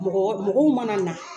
Mɔgɔ mɔgɔ mun man kan na.